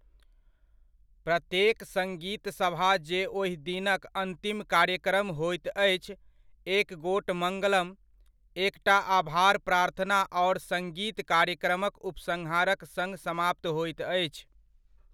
प्रत्येक सङ्गीतसभा जे ओहि दिनक अन्तिम कार्यक्रम होइत अछि, एक गोट मङ्गलम, एकटा आभार प्रार्थना आओर सङ्गीत कार्यक्रमक उपसंहारक सङ्ग समाप्त होइत अछि।